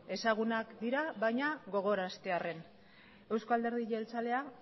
ezagunak dira baina gogoraraztearren eusko alderdi jeltzalea